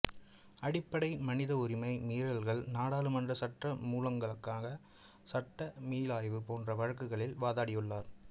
அடிப்படை மனித உரிமை மீறல்கள் நாடாளுமன்ற சட்டமூலங்களுக்கான சட்டமீளாய்வு போன்ற வழக்குகளில் வாதாடியுள்ளார்